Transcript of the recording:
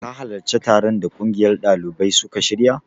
Ka halarci taron da ƙungiyar ɗalibai suka shirya?